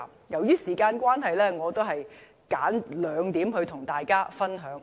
由於時間關係，我選兩點跟大家分享。